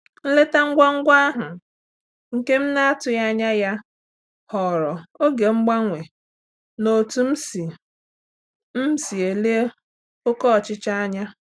Nleta ngwa ngwa ahụ, nke m na-atụghị anya ya ghọrọ oge mgbanwe n'otú m si m si ele oké ọchịchọ anya.